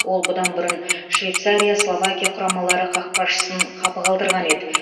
ол бұдан бұрын швейцария словакия құрамалары қақпашысын қапы қалдырған еді